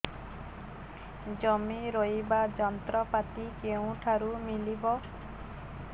ଜମି ରୋଇବା ଯନ୍ତ୍ରପାତି କେଉଁଠାରୁ ମିଳିବ